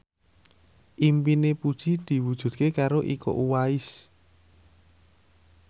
impine Puji diwujudke karo Iko Uwais